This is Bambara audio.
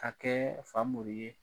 Ka kɛɛ Famori ye